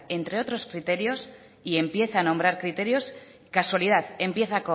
entre otros criterios y empieza a nombrar criterios casualidad empieza